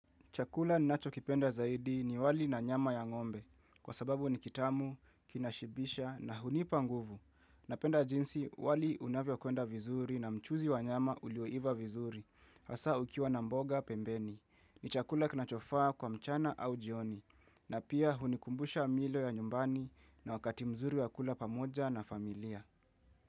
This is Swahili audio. Chakula ninachokipenda zaidi ni wali na nyama ya ngombe, kwa sababu ni kitamu, kinashibisha na hunipa nguvu. Napenda jinsi wali unavyokwenda vizuri na mchuzi wa nyama ulioiva vizuri, hasa ukiwa na mboga pembeni. Ni chakula kinachofaa kwa mchana au jioni, na pia hunikumbusha milo ya nyumbani na wakati mzuri wa kula pamoja na familia.